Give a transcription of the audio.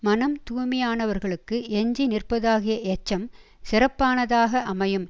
மனம் தூய்மையானவர்களுக்கு எஞ்சி நிற்பதாகிய எச்சம் சிறப்பானதாக அமையும்